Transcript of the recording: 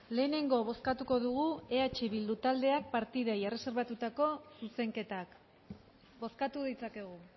lehenengo bozkatuko dugu eh bilduko taldeak partidei erreserbatutako zuzenketak bozkatu ditzakegu